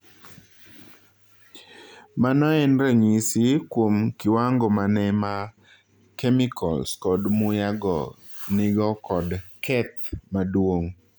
Mano en ranyisis kwom kiwango mane ma kemikols kod muya go nigo kod keth maduong